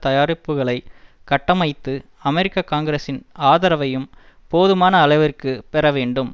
தயாரிப்புக்களை கட்டமைத்து அமெரிக்க காங்கிரசின் ஆதரவையும் போதுமான அளவிற்கு பெற வேண்டும்